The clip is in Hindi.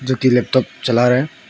जोकि लैपटॉप चला रहे हैं।